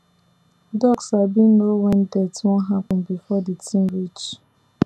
dog sabi know when death wan happen before the thing reach